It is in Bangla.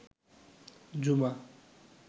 জুমা